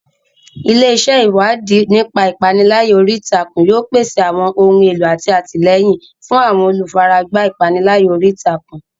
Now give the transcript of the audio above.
Ilé iṣẹ́ Ìwádìí nípa ìpániláyà orí ìtàkùn yóò pèsè àwọn ohun èlò àti àtìlẹ́yìn fún àwọn olùfaragbá ìpániláyà orí ìtàkùn.